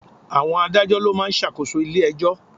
Àwọn Adájọ́ ló ma ń ṣàkóso ilé ẹjọ́.